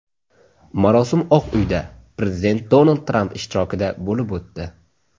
Marosim Oq uyda, prezident Donald Tramp ishtirokida bo‘lib o‘tdi.